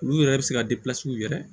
Olu yɛrɛ bɛ se ka yɛrɛ